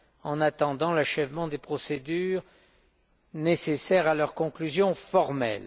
en attendant l'achèvement des procédures nécessaires à leur conclusion formelle.